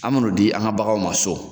An me n'o di an ga baganw ma so